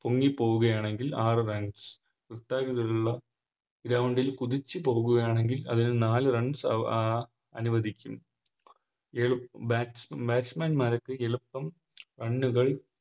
പൊങ്ങിപ്പോവുകയാണെങ്കിൽ ആറ് Runs വൃത്താകൃതിയിലുള്ള Ground ൽ കുതിച്ച് പോകുകയാണെങ്കിൽ അതിന് നാല് Runs അഹ് അനുവദിക്കും Batsman മാർക്ക് എളുപ്പം Runs കൾ